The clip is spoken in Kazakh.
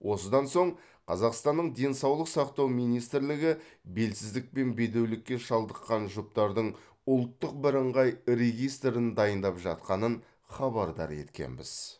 осыдан соң қазақстанның денсаулық сақтау министрлігі белсіздік пен бедеулікке шалдыққан жұптардың ұлттық бірыңғай регистрін дайындап жатқанын хабардар еткенбіз